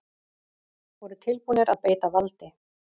Voru tilbúnir að beita valdi